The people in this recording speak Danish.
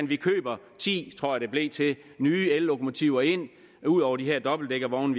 vi køber ti tror jeg det blev til nye ellokomotiver ind ud over de her dobbeltdækkervogne